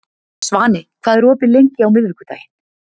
Svani, hvað er opið lengi á miðvikudaginn?